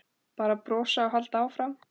Bara brosa og halda áfram.